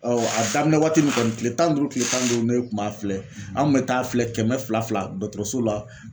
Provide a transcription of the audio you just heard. a daminɛ waati nin kɔni kile tan ni duuru kile tan ni duuru ne kun b'a filɛ an kun bɛ taa filɛ kɛmɛ fila dɔgɔtɔrɔso la